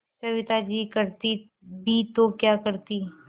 सविता जी करती भी तो क्या करती